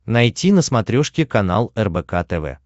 найти на смотрешке канал рбк тв